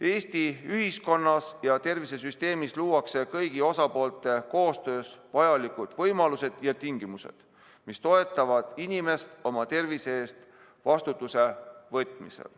Eesti ühiskonnas ja tervishoiusüsteemis luuakse kõigi osapoolte koostöös vajalikud võimalused ja tingimused, mis toetavad inimest, et ta oma tervise eest vastutuse võtaks.